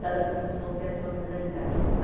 Cada professor tem a sua mentalidade.